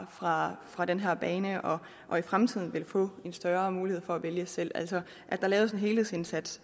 fra fra den her bane og og i fremtiden vil få en større mulighed for at vælge selv altså at der laves en helhedsindsats